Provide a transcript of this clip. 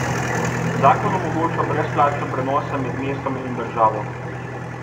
Zakon omogoča brezplačne prenose med mestom in državo.